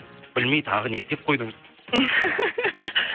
білмей тағы не істеп қойдыңыз